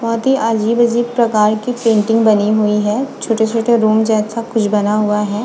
बहुत ही अजीब-अनीब प्रकार की पेंटिंग बनी हुई है छोटे-छोटे रूम जैसा कुछ बना हुआ है।